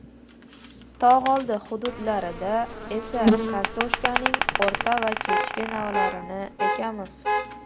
Tog‘oldi hududlarida esa kartoshkaning o‘rta va kechki navlarini ekamiz.